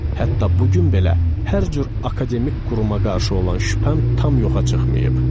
Hətta bu gün belə hər cür akademik quruma qarşı olan şübhəm tam yoxa çıxmayıb.